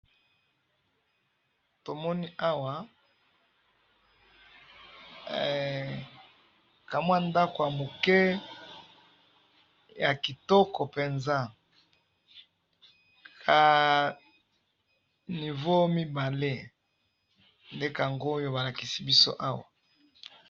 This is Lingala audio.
tomoni awa hee kamwa ndaku ya muke ya kitoko penza niveau mibale nde yango balakisi biso awa .